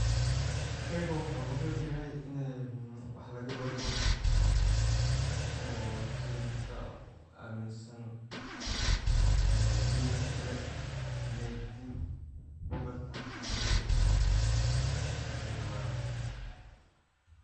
sheygan wuxuu muhim uyahay ini wax laga barto oo sida dadka aaminsan dinti kale inay dinta kabartan siday rabaan